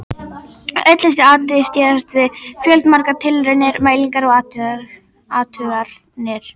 Öll þessi atriði styðjast við fjöldamargar tilraunir, mælingar og athuganir.